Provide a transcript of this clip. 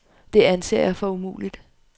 Det anser jeg for umuligt.